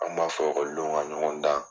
An kun b'a fɔ o ka ɲɔgɔn dan.